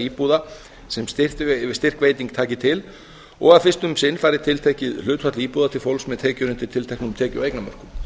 íbúða sem styrkveiting taki til og að fyrst um sinn fari tiltekið hlutfall íbúða til fólks með tekjur undir tilteknum tekju og eignamörkum